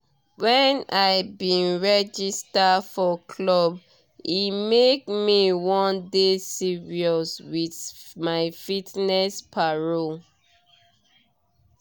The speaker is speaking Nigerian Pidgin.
when i bin register for club e make me wan dey serious with my fitness paro